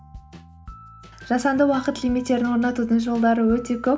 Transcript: жасанды уақыт лимиттерін орнатудың жолдары өте көп